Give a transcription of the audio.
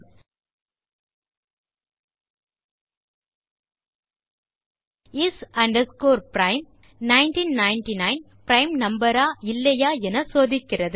is prime 1999 prime number ஆ இல்லையா என சோதிக்கிறது